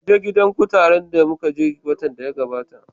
Kaje gidan kutaren da muka je watan da ya gabata